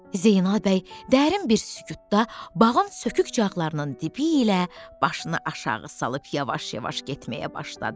Zeynəb bəy dərin bir sükutda bağın sökükcaqlarının dibi ilə başını aşağı salıb yavaş-yavaş getməyə başladı.